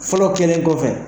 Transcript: Fɔlɔ kelen kɔfɛ.